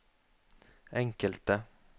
enkelte